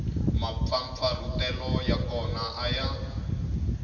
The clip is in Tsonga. mampfampfarhutelo ya kona a ya